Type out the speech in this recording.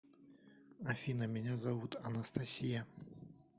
афина меня зовут анастасия